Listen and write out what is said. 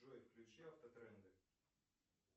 джой включи автотренды